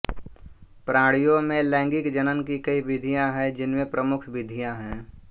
प्राणियों में लैंगिक जनन की कई विधियाँ हैं जिनमें प्रमुख विधियाँ हैं